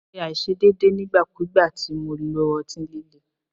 Mo ṣe aiṣedeede nigbakugba ti Mo lo ọti-lile